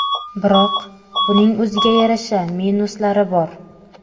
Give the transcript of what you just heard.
Biroq, buning o‘ziga yarasha minuslari bor.